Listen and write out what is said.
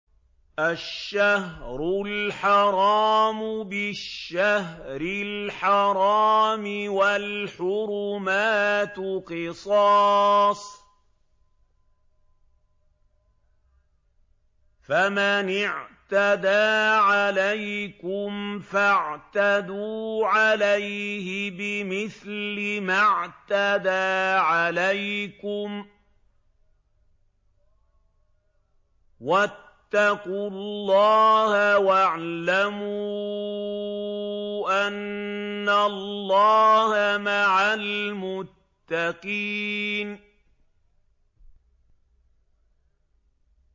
الشَّهْرُ الْحَرَامُ بِالشَّهْرِ الْحَرَامِ وَالْحُرُمَاتُ قِصَاصٌ ۚ فَمَنِ اعْتَدَىٰ عَلَيْكُمْ فَاعْتَدُوا عَلَيْهِ بِمِثْلِ مَا اعْتَدَىٰ عَلَيْكُمْ ۚ وَاتَّقُوا اللَّهَ وَاعْلَمُوا أَنَّ اللَّهَ مَعَ الْمُتَّقِينَ